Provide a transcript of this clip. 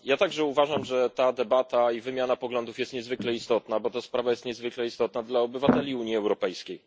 Ja także uważam, że ta debata i wymiana poglądów jest niezwykle istotna, gdyż sprawa jest niezwykle istotna dla obywateli Unii Europejskiej.